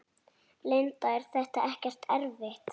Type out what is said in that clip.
Linda: Er þetta ekkert erfitt?